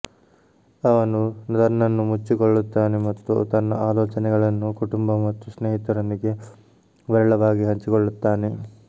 ಅವನು ತನ್ನನ್ನು ಮುಚ್ಚಿಕೊಳ್ಳುತ್ತಾನೆ ಮತ್ತು ತನ್ನ ಆಲೋಚನೆಗಳನ್ನು ಕುಟುಂಬ ಮತ್ತು ಸ್ನೇಹಿತರೊಂದಿಗೆ ವಿರಳವಾಗಿ ಹಂಚಿಕೊಳ್ಳುತ್ತಾನೆ